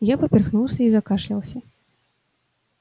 я поперхнулся и закашлялся